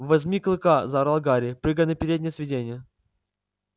возьми клыка заорал гарри прыгая на переднее сиденье